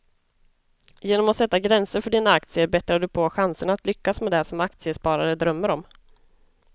Genom att sätta gränser för dina aktier bättrar du på chanserna att lyckas med det som aktiesparare drömmer om.